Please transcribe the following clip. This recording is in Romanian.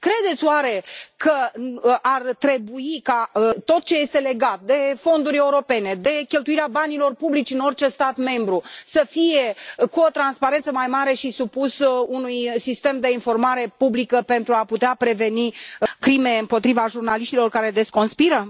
Credeți oare că ar trebui ca tot ce este legat de fonduri europene, de cheltuirea banilor publici în orice stat membru să aibă o transparență mai mare și să fie supus unui sistem de informare publică, pentru a putea preveni crime împotriva jurnaliștilor care deconspiră?